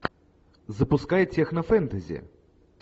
запускай технофэнтези